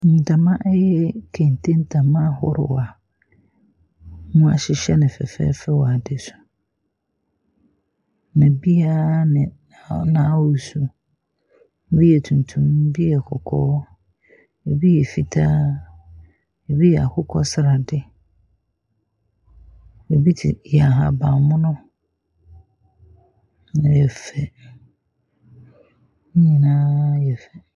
Ntama yi yɛ kente ntama ahorow a wɔahyehyɛ no fɛɛfɛɛfɛ wɔ ade so. Na ebi ara ne n’ahosuo. Ebi yɛ tuntum, ebi yɛ kɔkɔɔ, ebi yɛ fitaa ebi yɛ akokɔ sradeɛ. Ebi te yɛ ahaban mono, na ɛyɛ fɛ. Ne nyinaa yɛ fɛ.